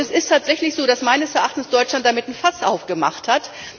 Es ist tatsächlich so, dass meines Erachtens Deutschland damit ein Fass aufgemacht hat.